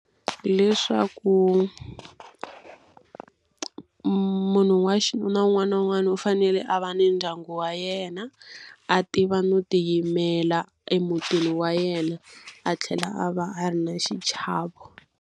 Hileswaku munhu wa xinuna un'wana na un'wana u fanele a va ni ndyangu wa yena, a tiva no tiyimela emutini wa yena, a tlhela a va a ri na xichavo.